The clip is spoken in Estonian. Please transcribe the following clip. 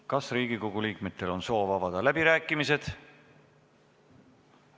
Kas Riigikogu liikmetel on soovi avada läbirääkimised?